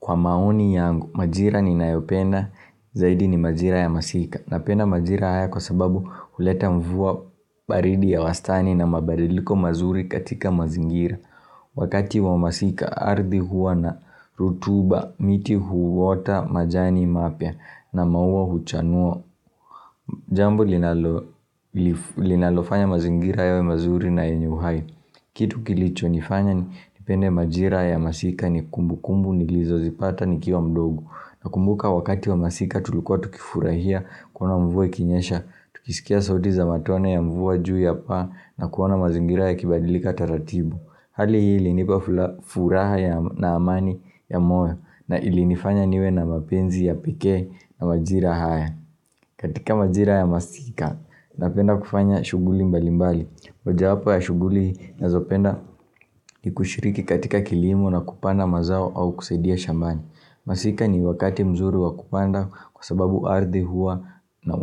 Kwa maoni yangu majira ninayopenda zaidi ni majira ya masika napenda majira haya kwa sababu huleta mvua baridi ya wastani na mabadiliko mazuri katika mazingira Wakati wa masika ardhi huwa na rutuba miti huota majani mapia na maua huchanua Jambo linalofanya mazingira yawe mazuri na yenye uhai Kitu kilicho nifanya nipende majira ya masika ni kumbukumbu nilizo zipata nikiwa mdogo nakumbuka wakati wa masika tulikua tukifurahia kuona mvua ikinyesha tukisikia sauti za matone ya mvua juu ya paa na kuona mazingira yakibadilika taratibu Hali hii ilinipa furaha na amani ya moyo na ilinifanya niwe na mapenzi ya pekee ya majira haya katika majira ya masika napenda kufanya shuguli mbalimbali moja yapo ya shuguli nazopenda ni kushiriki katika kilimo na kupanda mazao au kusaidia shambani Masika ni wakati mzuri wa kupanda kwa sababu ardhi huwa na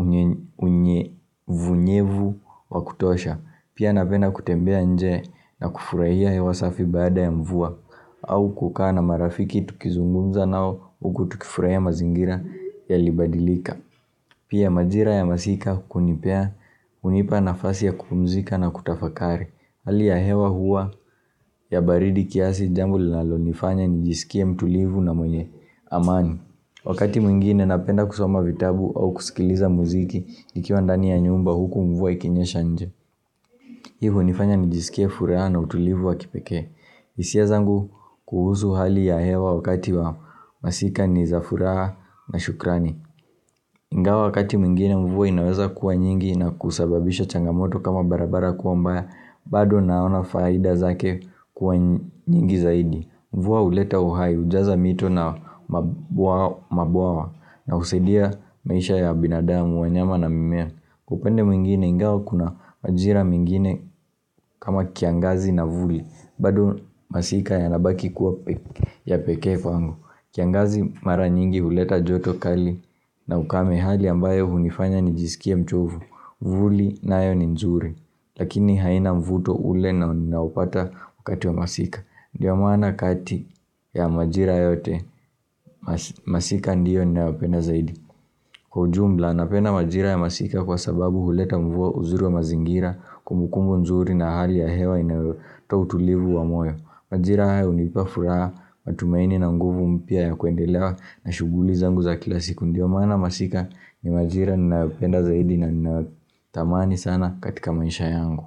unyevunyevu wa kutosha Pia napenda kutembea nje na kufurahia hewa safi baada ya mvua au kukaa na marafiki tukizungumza nao huku tukifurahia mazingira yalibadilika Pia majira ya masika kunipea hunipa nafasi ya kupumzika na kutafakari hali ya hewa huwa ya baridi kiasi jambo linalo nifanya nijisikie mtulivu na mwenye amani Wakati mwingine napenda kusoma vitabu au kusikiliza muziki nikiwa ndani ya nyumba huku mvua ikinyesha nje hii hunifanya nijisikie furaha na utulivu wa kipekee hisia zangu kuhusu hali ya hewa wakati wa masika ni za furaha na shukrani Ingawa wakati mingine mvua inaweza kuwa nyingi na kusababisha changamoto kama barabara kuwa mbaya bado naona faida zake kuwa nyingi zaidi Mvua huleta uhai hujaza mito na mabwawa na husaidia maisha ya binadamu, wanyama na mimea. Upande mwingine ingawa kuna majira mengine kama kiangazi na vuli, bado masika yanabaki kuwa ya pekee kwangu. Kiangazi mara nyingi huleta joto kali na ukame hali ambayo hunifanya nijisikie mchovu vuli nayo ni nzuri lakini haina mvuto ule ninaopata wakati wa masika ndio maana kati ya majira yote Masika ndiyo ninayopenda zaidi Kwa ujumla napenda majira ya masika kwa sababu huleta mvua uzuri wa mazingira kumbukumbu nzuri na hali ya hewa inayotoa utulivu wa moyo majira haya hunipa furaha matumaini na nguvu mpya ya kuendelea na shuguli zangu za kila siku ndio maana masika ni majira ninayopenda zaidi na tamani sana katika maisha yangu.